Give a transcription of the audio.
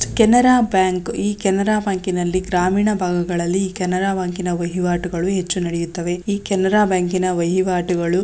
Canara bank ಈ ಕೆನರಾ ಬ್ಯಾಂಕಿನಲ್ಲಿ ಗ್ರಾಮೀಣ ಭಾಗದಲ್ಲಿ ಕೆನರಾ ಬ್ಯಾಂಕ್ ನ ವೈವಾಟುಗಳು ಹೆಚ್ಚು ನಡೆಯುತ್ತದೆ ಕೆನರಾ ಬ್ಯಾಂಕಿನ ವೈವಾಟುಗಳು